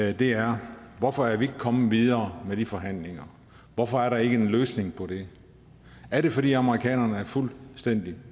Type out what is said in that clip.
og det er hvorfor er vi ikke kommet videre med de forhandlinger hvorfor er der ikke en løsning på det er det fordi amerikanerne er fuldstændig